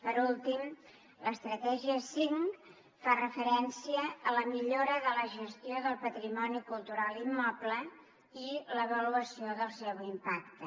per últim l’estratègia cinc fa referència a la millora de la gestió del patrimoni cultural immoble i l’avaluació del seu impacte